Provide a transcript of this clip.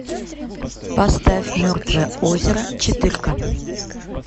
поставь мертвое озеро четырка